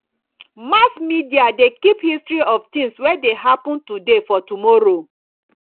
mass media de keep history of things wey de happen today for tomorrow